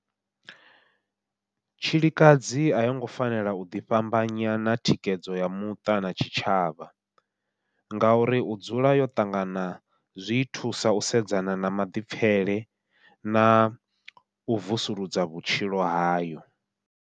Tshilikadzi a yongo fanela u ḓi fhambanya na thikhedzo ya muṱa na tshitshavha, ngauri u dzula yo ṱangana zwii thusa u sedzana na maḓipfhele nau vusuludza vhutshilo hayo.